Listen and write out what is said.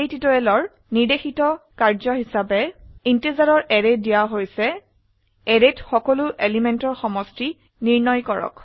এই টিউটোৰিয়ালেৰ নিৰ্দেশিত কাম হিসাবে ইন্টিজাৰৰ এৰে দিয়া হৈছে অ্যাৰেত সকলো এলিমেন্টেৰ সমষ্টি নিৰ্ণয় কৰক